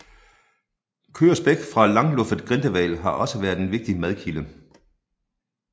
Kød og spæk fra langluffet grindehval har også været en vigtig madkilde